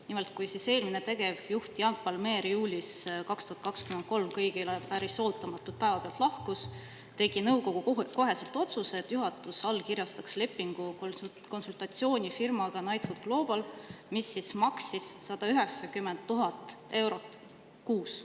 Nimelt, kui eelmine tegevjuht Jan Palmér juulis 2023 kõigile päris ootamatult päevapealt lahkus, tegi nõukogu kohe otsuse, et juhatus allkirjastaks konsultatsioonifirmaga Knighthood Global lepingu, mis maksis 190 000 eurot kuus.